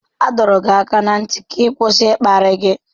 A dọrọ gị aka ná ntị ka ị kwụsị ịkparị gị.